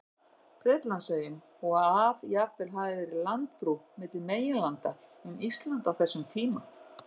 Bretlandseyjum, og að jafnvel hafi verið landbrú milli meginlanda um Ísland á þessum tíma.